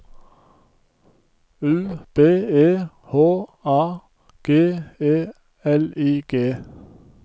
U B E H A G E L I G